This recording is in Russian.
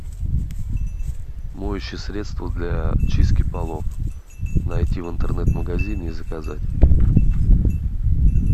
моющее средство для чистки полов найти в интернет магазине и заказать